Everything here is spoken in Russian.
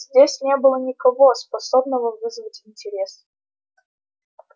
здесь не было никого способного вызвать интерес